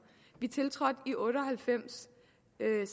vi tiltrådte i nitten otte og halvfems